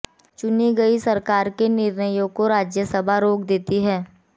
चुनी गई सरकार के निर्णयों को राज्यसभा रोक देती है